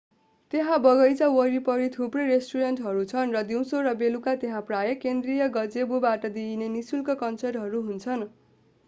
त्यहाँ बगैंचा वरिपरि थुप्रै रेस्टुरेन्टहरू छन् र दिउँसो र बेलुका त्यहाँ प्रायः केन्द्रीय गजेबोबाट दिइने निःशुल्क कन्सर्टहरू हुन्छन्